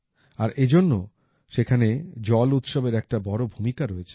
আর এ জন্য সেখানে জল উৎসবের একটা বড় ভূমিকা রয়েছে